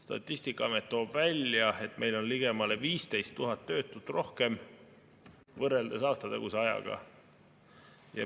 Statistikaamet toob välja, et meil on ligemale 15 000 töötut rohkem võrreldes aastataguse ajaga.